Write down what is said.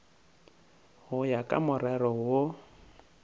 go ya ka morero wo